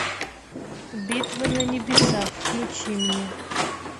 битва на небесах включи мне